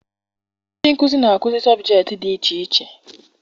Ndị nkụzi na-akụzi sọbjektị dị iche iche